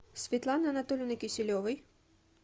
светланы анатольевны киселевой